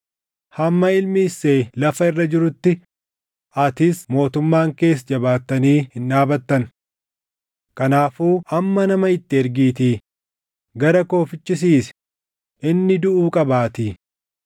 Hamma ilmi Isseey lafa irra jirutti atis mootummaan kees jabaattanii hin dhaabattan. Kanaafuu amma nama itti ergiitii gara koo fichisiisi; inni duʼuu qabaatii!”